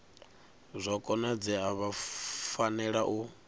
zwa konadzea vha fanela u